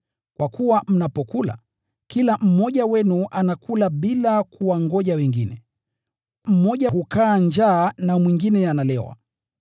kwa kuwa mnapokula, kila mmoja wenu anakula bila kuwangoja wengine. Mmoja hukaa njaa na mwingine analewa.